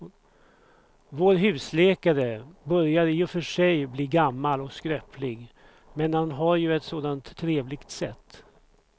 Vår husläkare börjar i och för sig bli gammal och skröplig, men han har ju ett sådant trevligt sätt!